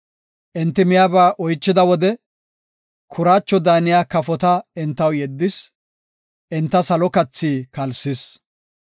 Enti miyaba oychida wode, kuraacho daaniya kafota entaw yeddis; enta salo kathi kalsis.